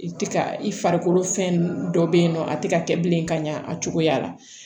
I tɛ ka i farikolo fɛn dɔ bɛ yen nɔ a tɛ ka kɛ bilen ka ɲa a cogoya la